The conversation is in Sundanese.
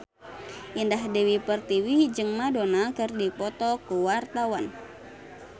Indah Dewi Pertiwi jeung Madonna keur dipoto ku wartawan